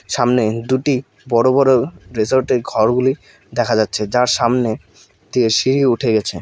সামনে দুটি বড় বড় রিসোর্টের ঘরগুলি দেখা যাচ্ছে যার সামনে দিয়ে সিঁড়ি উঠে গেছে।